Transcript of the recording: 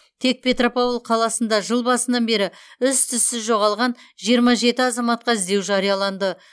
тек петропавл қаласында жыл басынан бері із түссіз жоғалған жиырма жеті азаматқа іздеу жарияланды